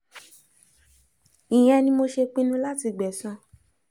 ìyẹn ni mo ṣe pinnu láti gbẹ̀san